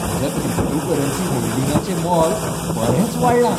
म्हज्या क्रिप्टोकरन्सी होल्डिंगांचें मोल बरेंच वाडलां.